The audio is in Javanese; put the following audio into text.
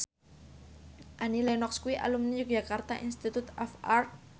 Annie Lenox kuwi alumni Yogyakarta Institute of Art